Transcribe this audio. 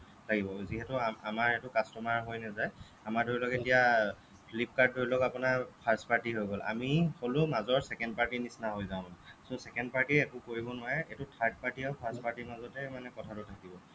লাগিব যিহেতু আমাৰ এইটো customer ৰ হৈ নাযায় আমাৰ ধৰি লওঁক এতিয়া flipkart ধৰি লওঁক আপোনাৰ first party হৈ গ'ল আমি হ'লো মাজৰ second party নিচিনা হৈ যাওঁ মানে so second party য়ে একো কৰিব নোৱাৰে সেইটো third party আৰু first party ৰ মাজত হে কথাটো থাকিব লাগিব